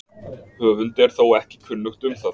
Höfundi er þó ekki kunnugt um það.